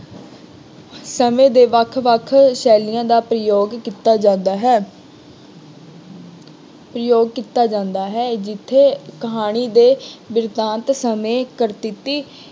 ਸਮੇਂ ਦੇ ਵੱਖ ਵੱਖ ਸ਼ੈਲੀਆਂ ਦਾ ਪ੍ਰਯੋਗ ਕੀਤਾ ਜਾਂਦਾ ਹੈ। ਪ੍ਰਯੋਗ ਕੀਤਾ ਜਾਂਦਾ ਹੈ। ਜਿੱਥੇ ਕਹਾਣੀ ਦੇ ਬਿਰਤਾਂਤ ਸਮੇਂ ਕਰ ਟਿੱਪੀ